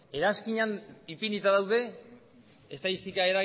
eranskinean ipinita daude estatistika